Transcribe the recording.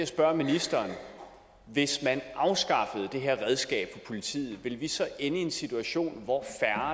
spørge ministeren hvis man afskaffede det her redskab for politiet ville vi så ende i en situation hvor